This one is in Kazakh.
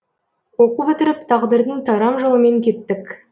оқу бітіріп тағдырдың тарам жолымен кеттік